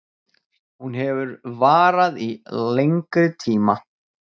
Hún hefur varað í lengri tíma